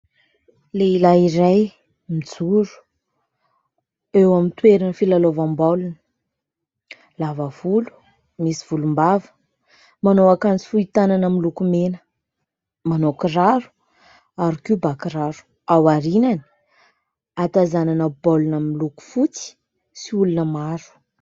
Lehilahy iray mijoro eo amin'ny toerana filalaovam-baolina : lava volo, misy volom-bava, manao akanjo fohy tanana miloko mena, mana kiraro ary koa bà-kiraro, ao aoriany ahatazanana baolina miloko fotsy sy olona maro.